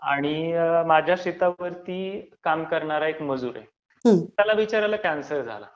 आणि माझ्या शेतावरती काम करणारा एक मजूर आहे. त्याला बिचाऱ्याला कँसर झाला.